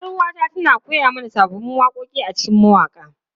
Yar uwata tana koya mana sabbin waƙoƙi a cikin mawaƙa.